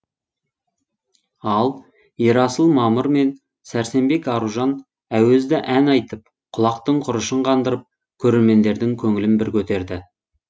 ал ерасыл мамыр мен сәрсенбек аружан әуезді ән айтып құлақтың құрышын қандырып көрермендердің көңілін бір көтерді